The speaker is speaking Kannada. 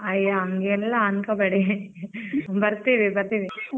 ಅಯ್ಯಾ ಅಂಗೆಲ್ಲ ಅನ್ಕೋ ಬೇಡಿ ಬರ್ತೀವಿ ಬರ್ತೀವಿ.